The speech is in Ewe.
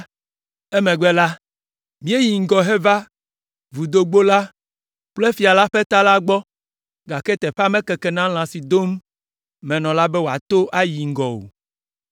Emegbe la, míeyi ŋgɔ heva Vudogbo la kple fia ƒe ta la gbɔ, gake teƒea mekeke na lã si dom menɔ la be wòato ayi ŋgɔ o,